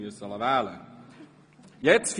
Er musste sich ja auch nicht wählen lassen.